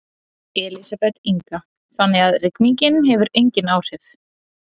Elísabet Inga: Þannig að rigningin hefur engin áhrif?